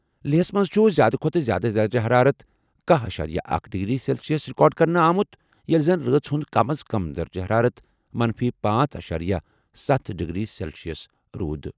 لیہہ ہَس منٛز چھُ زِیٛادٕ کھۄتہٕ زِیٛادٕ درجہٕ حرارت کَہہ اشیریہ اکھ ڈگری سیلسیس رِکارڈ کرنہٕ آمُت ییٚلہِ زن رٲژ ہُنٛد کم از کم درجہٕ حرارت منفی پانژھ اشیریہ ستَھ ڈگری سیلسیس روٗد۔